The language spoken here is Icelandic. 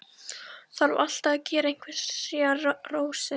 Þarf alltaf að gera einhverjar rósir.